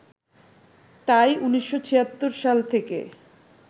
তাই ১৯৭৬ সাল থেকে